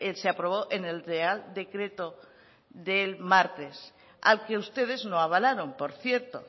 se aprobó en el real decreto del martes al que ustedes no avalaron por cierto